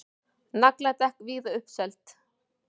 Nagladekk víða uppseld